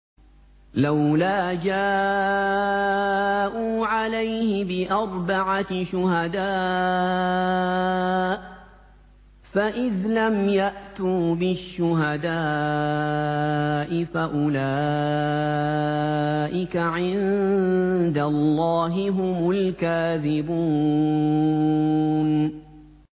لَّوْلَا جَاءُوا عَلَيْهِ بِأَرْبَعَةِ شُهَدَاءَ ۚ فَإِذْ لَمْ يَأْتُوا بِالشُّهَدَاءِ فَأُولَٰئِكَ عِندَ اللَّهِ هُمُ الْكَاذِبُونَ